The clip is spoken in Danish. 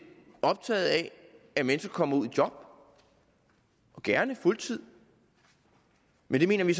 optaget af at mennesker kommer ud i job gerne fuldtidsjob men det mener vi